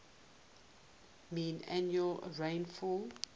mean annual rainfall